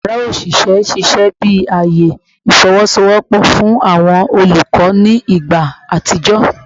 Yara oṣiṣẹ ṣiṣẹ bi aaye ifowosowopo fun awọn olukọ ni igba atijọ